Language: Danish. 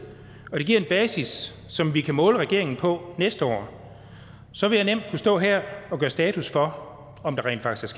og det giver en basis som vi kan måle regeringen på næste år så vil jeg nemt kunne stå her og gøre status for om der rent faktisk